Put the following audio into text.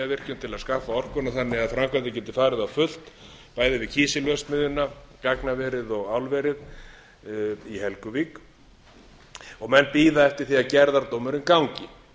hverahlíðarvirkjun til að skaffa orkuna þannig að þannig að framkvæmdir geti farið á fullt bæði við kísilverksmiðjuna gagnaverið og álverið í helguvík og menn bíða eftir því að gerðardómurinn gangi